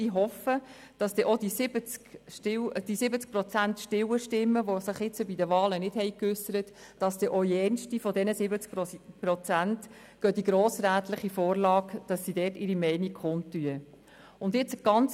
Ich hoffe, dass dann auch die 70 Prozent der stillen Stimmen, die sich bei den Wahlen nicht geäussert haben, ihre Meinung zur grossrätlichen Vorlage kundtun.